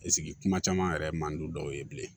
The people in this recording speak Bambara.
kuma caman yɛrɛ ye mandi dɔw ye bilen